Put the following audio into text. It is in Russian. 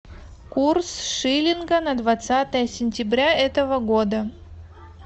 курс шиллинга на двадцатое сентября этого года